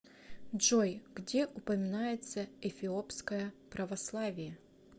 джой где упоминается эфиопское православие